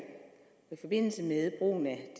forbindelse med brugen af